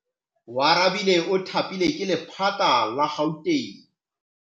Oarabile o thapilwe ke lephata la Gauteng.